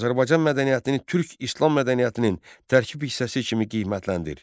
Azərbaycan mədəniyyətini türk-islam mədəniyyətinin tərkib hissəsi kimi qiymətləndir.